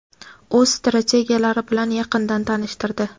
o‘z strategiyalari bilan yaqindan tanishtirdi.